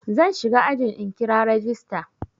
Zan shiga ajin in kira rajista.